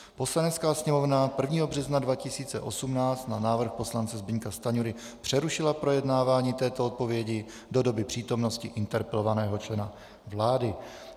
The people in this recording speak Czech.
Poslanecká sněmovna 1. března 2018 na návrh poslance Zbyňka Stanjury přerušila projednávání této odpovědi do doby přítomnosti interpelovaného člena vlády.